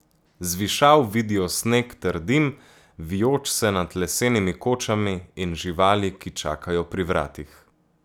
Z višav vidijo sneg ter dim, vijoč se nad lesenimi kočami, in živali, ki čakajo pri vratih.